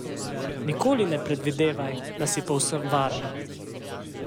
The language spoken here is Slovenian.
Nikoli ne predvidevaj, da si povsem varna.